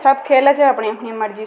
सब खेल छे अपनी अपनी मर्जी से --